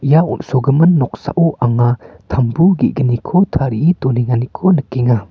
ia on·sogimin noksao anga tambu ge·gniko tarie donenganiko nikenga.